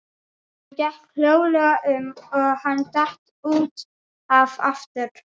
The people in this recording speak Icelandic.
Hún gekk hljóðlega um og hann datt út af aftur.